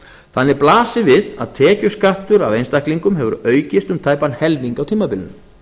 þannig blasir við að tekjuskattur af einstaklingum hefur aukist um tæpan helming á tímabilinu